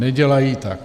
Nedělají tak.